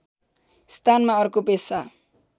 स्थानमा अर्को पेशा